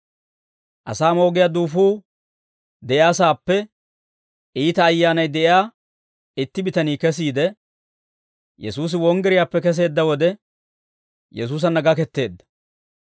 Asaa moogiyaa duufuu de'iyaasaappe iita ayyaanay de'iyaa itti bitanii kesiide, Yesuusi wonggiriyaappe keseedda wode, Yesuusanna gaketteedda.